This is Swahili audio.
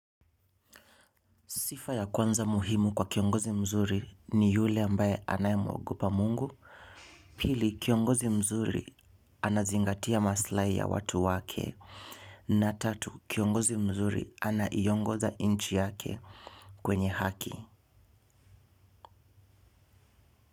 Sifa ya kwanza muhimu kwa kiongozi mzuri ni yule ambaye anayemwogopa mungu, pili kiongozi mzuri anazingatia maslahi ya watu wake, na tatu kiongozi mzuri anaiongoza nchi yake kwenye haki.